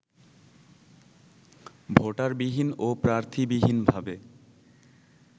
ভোটারবিহীন ও প্রার্থীবিহীনভাবে